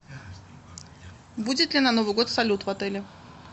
будет ли на новый год салют в отеле